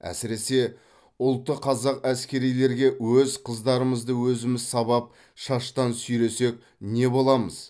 әсіресе ұлты қазақ әскерилерге өз қыздарымызды өзіміз сабап шаштан сүйресек не боламыз